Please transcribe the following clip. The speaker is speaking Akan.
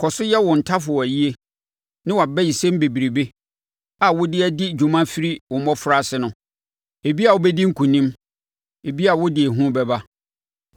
“Kɔ so yɛ wo ntafowayie ne wʼabayisɛm bebrebe a wode adi dwuma firi wo mmɔfraase no. Ebia wobɛdi nkonim, ebia wode ehu bɛba.